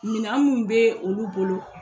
Mina mun bɛ olu bolo,